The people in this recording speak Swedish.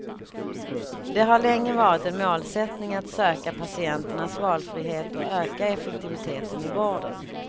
Det har länge varit en målsättning att söka patienternas valfrihet och öka effektiviteten i vården.